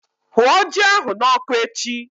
Hụọ ji ahụ n'ọkụ echi!